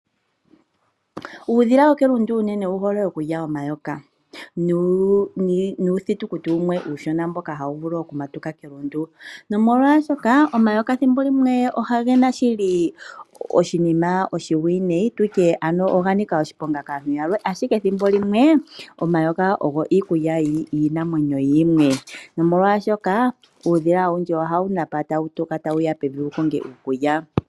Uudhila wo kelundu unene owu hole okulya omayoka nuuthitukuti wumwe uushona mboka hawu vulu oku matuka kelundu. Nomolwashoka omayoka thimbo limwe ogena shili oshinima oshiwineyi, tutye ano oga nika oshiponga kaantu yalwe. Ashike ethimbo limwe omayoka ogo iikulya yiinamwenyo yimwe. Nomolwashoka uudhila owundji ohawu napa tawu tuka ta wuya pevi, ta wuya wu konge iikulya.